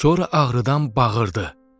Sonra ağrıdan bağırdı.